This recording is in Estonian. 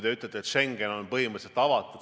Te ütlete, et Schengen on põhimõtteliselt avatud.